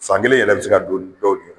San kelen yɛrɛ bɛ se ka don dɔw cɛ.